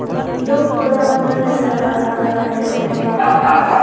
दो पौधा पूरा नजर आ रहा है और एक आधा।